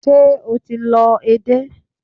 Ṣé o ti lọ edé?